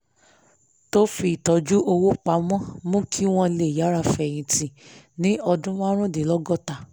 tó fi ń tọ́jú owó pa mọ́ mú kí wọ́n lè yára fẹyìntì ní ọdún márùndínlọ́gọ́ta